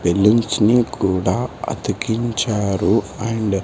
balloons ని కూడా అతికించారు అండ్ --